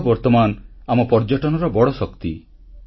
ଏହା ବର୍ତ୍ତମାନ ଆମ ପର୍ଯ୍ୟଟନର ବଡ଼ ଶକ୍ତି